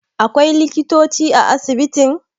akwai likitoci a asibitin?